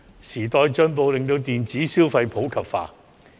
時代進步，令電子消費普及化。